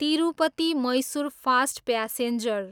Tirupati, Mysuru fast passenger